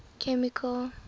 chemical